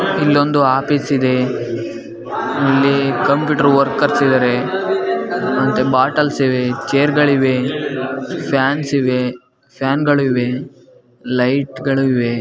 ಇಲ್ಲೊಂದು ಆಫೀಸ್ ಇದೆ. ಇಲ್ಲಿ ಕಂಪ್ಯೂಟರ್ ವರ್ಕರ್ಸ್ ಇದ್ದಾರೆ ಮತ್ತೆ ಬಾಟಾಲ್ಸ್ ಇವೆ ಚೇರ ಗಳಿವೆ ಫ್ಯಾನ್ಸ್ ಇವೆ ಫ್ಯಾನ್ ಗಳಿವೆ ಲೈಟ್ ಗಳಿವೆ.